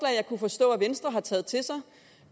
jeg kunne forstå at venstre havde taget til sig